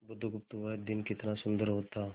बुधगुप्त वह दिन कितना सुंदर होता